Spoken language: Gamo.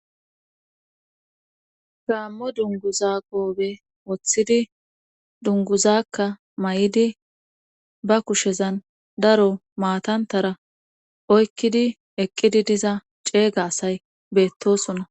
Gaammo dunguza gobe woththidi dunguzakka may7idi ba kushezan daro maatantara oykkidi eqqidi diza ceega asay beettosona.